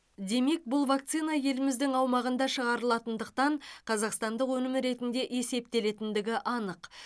демек бұл вакцина еліміздің аумағында шығарылатындықтан қазақстандық өнім ретінде есептелендігі анық